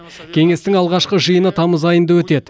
кеңестің алғашқы жиыны тамыз айында өтеді